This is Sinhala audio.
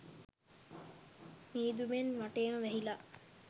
මීදුමෙන් වටේම වැහිලා.